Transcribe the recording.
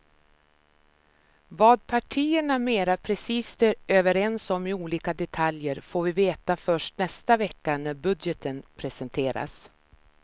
Vad partierna mera precist är överens om i olika detaljer får vi veta först nästa vecka när budgeten presenteras.